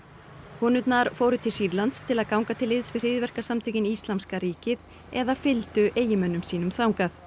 konurnar fóru til Sýrlands til að ganga til liðs við hryðjuverkasamtökin Íslamska ríkið eða fylgdu eiginmönnum sínum þangað